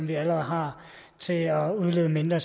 vi allerede har til at udlede mindre